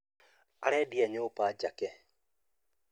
Arendia nyũmba njake